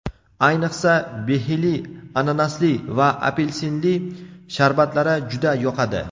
Ayniqsa, behili, ananasli va apelsinli sharbatlari juda yoqadi.